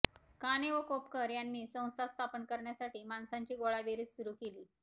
काणे व कोपरकर यांनी संस्था स्थापन करण्यासाठी माणसांची गोळाबेरीज सुरू केली